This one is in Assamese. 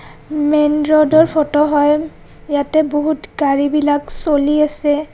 মেইন ৰ'ড ৰ ফটো হয়. ইয়াতে বহুত গাড়ী বিলাক চলি আছে.